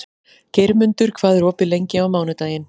Geirmundur, hvað er opið lengi á mánudaginn?